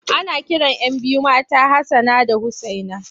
Ana kiran 'yan biyu mata da Hassana da Usaina.